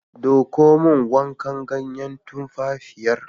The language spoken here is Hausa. Ɗauko min wancan ganyen tumfafiyar.